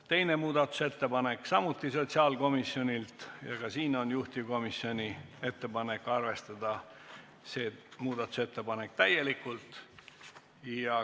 Teine muudatusettepanek, samuti sotsiaalkomisjonilt ja ka siin on juhtivkomisjoni ettepanek arvestada muudatusettepanekut täielikult.